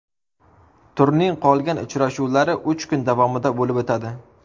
Turning qolgan uchrashuvlari uch kun davomida bo‘lib o‘tadi.